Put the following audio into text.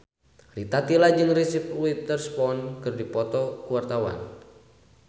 Rita Tila jeung Reese Witherspoon keur dipoto ku wartawan